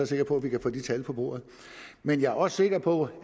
sikker på at vi kan få de tal på bordet men jeg er også sikker på